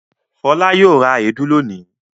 Fọlá yóò ra èédú lónìí.